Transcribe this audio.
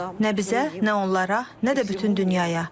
Nə bizə, nə onlara, nə də bütün dünyaya.